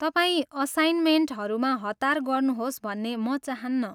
तपाईँ असाइनमेन्टहरूमा हतार गर्नुहोस् भन्ने म चहान्नँ।